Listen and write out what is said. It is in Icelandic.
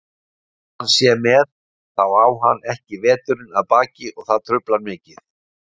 Þó hann sé með, þá á hann ekki veturinn að baki og það truflar mikið.